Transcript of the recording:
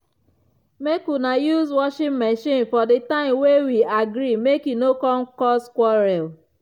make una use washing machine for di time wey we agree make e no come cause quarrel.